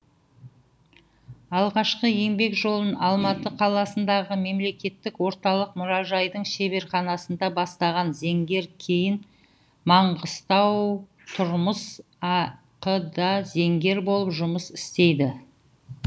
алғашқы еңбек жолын алматы қаласындағы мемлекеттік орталық мұражайдың шеберханасында бастаған зергер кейін маңғыстаутұрмыс ақ да зергер болып жұмыс істейді